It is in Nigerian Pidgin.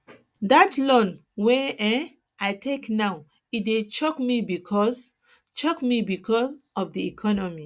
dat loan wey um i take now e dey choke me because choke me because of di economy